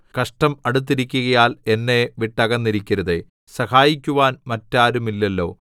കഷ്ടം അടുത്തിരിക്കുകയാൽ എന്നെ വിട്ടകന്നിരിക്കരുതേ സഹായിക്കുവാൻ മറ്റാരുമില്ലല്ലോ